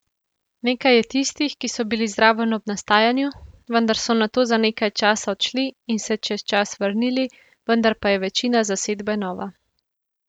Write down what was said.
Nekaj je tistih, ki so bili zraven ob nastajanju, vendar so nato za nekaj časa odšli in se čez čas vrnili, vendar pa je večina zasedbe nova.